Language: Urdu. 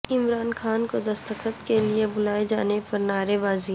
عمران خان کو دستخط کے لیے بلائے جانے پر نعرے بازی